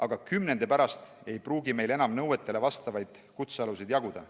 Aga kümnendi pärast ei pruugi meil enam nõuetele vastavaid kutsealuseid jaguda.